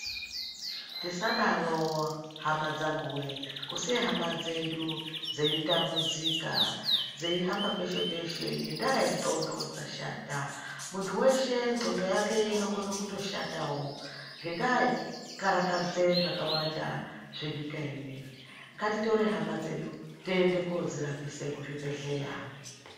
Tisadaro hamadzanguweee kusiya hama dzedu dzeitambudzika dzeihamba peshe peshe ngendaa yendxondo dzashata muntu weshe ndxondo yake inokona kutoshatawo ngendaa yekukarakadze zvakawanda zvenyika inei ngatitore hama dzedu tiende kodzirapisa kuzvibhedhleya.